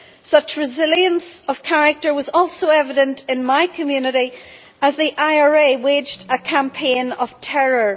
Such resilience of character was also evident in my community as the IRA waged a campaign of terror.